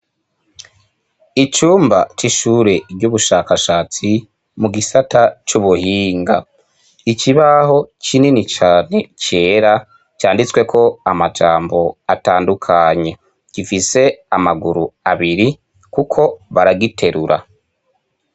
Icumba c'ishure ry'ubushakashatsi mu gisata c'ubuhinga, ikibaho kinini cane cera canditsweko amajambo atandukanye, gifise amaguru abiri kuko baragiterura.